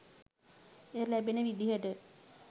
ඉඩ ලැබෙන විදිහට